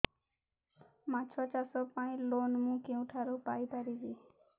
ମାଛ ଚାଷ ପାଇଁ ଲୋନ୍ ମୁଁ କେଉଁଠାରୁ ପାଇପାରିବି